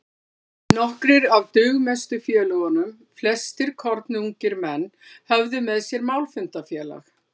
Nokkrir af dugmestu félögunum, flestir kornungir menn, höfðu með sér málfundafélag